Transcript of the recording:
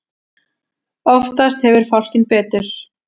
Oftast hefur fálkinn betur.